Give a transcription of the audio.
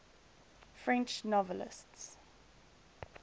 french novelists